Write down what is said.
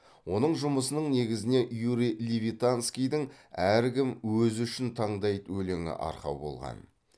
оның жұмысының негізіне юрий левитанскийдің әркім өзі үшін таңдайды өлеңі арқау болған